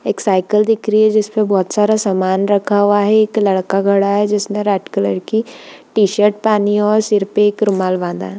एक साइकिल दिख रही है जिसमे बहुत सारा समान रखा हुआ है एक लड़का खड़ा हुआ है जिसने रेड कलर की टी शर्ट पहना हुआ सिर पे एक रुमाल बंधा है।